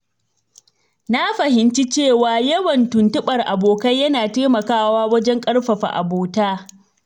Na fahimci cewa yawan tuntuɓar abokai yana taimakawa wajen ƙarfafa abota.